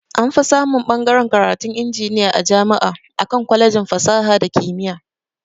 Anfi samun ɓagaren karatun injiniya a jama'i akan kwalejin fasaha da kimiya